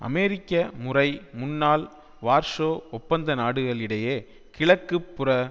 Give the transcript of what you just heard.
அமெரிக்க முறை முன்னாள் வார்சோ ஒப்பந்த நாடுகளிடையே கிழக்கு புற